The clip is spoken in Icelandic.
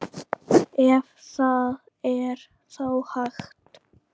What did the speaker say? Ef það er þá hægt.